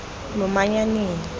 lomanyaneng